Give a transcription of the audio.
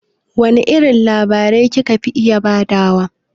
Wane irin labari ki ka fi iya ba da wa?